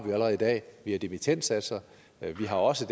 allerede i dag vi har dimittendsatser og vi har også